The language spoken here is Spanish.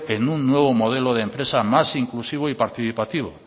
que en un nuevo modelo de empresa más inclusivo y participativo